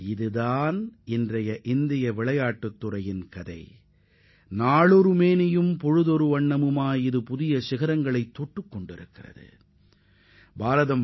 இதுவே ஒவ்வொரு நாளும் இந்தியாவின் விளையாட்டுத் துறை அடைந்து வரும் முன்னேற்றத்தை பிரதிபலிக்கும் யதார்த்த நிலையாகும்